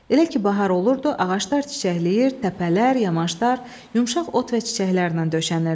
Elə ki bahar olurdu, ağaclar çiçəkləyir, təpələr, yamaşlar, yumşaq ot və çiçəklərlə döşənirdi.